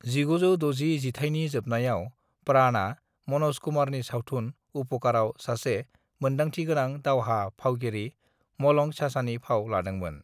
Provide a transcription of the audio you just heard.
"1960 जिथाइनि जोबनायाव, प्राणआ मनोज कुमारनि सावथुन उपकरआव सासे मोनदांथिगोनां दावहा फावगिरि मलंग चाचानि फाव लादोंमोन।"